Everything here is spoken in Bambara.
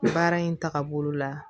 Baara in tagabolo la